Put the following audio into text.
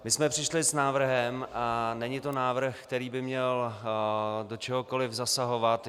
My jsme přišli s návrhem, a není to návrh, který by měl do čehokoli zasahovat.